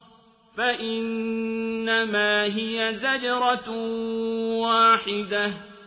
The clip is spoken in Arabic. فَإِنَّمَا هِيَ زَجْرَةٌ وَاحِدَةٌ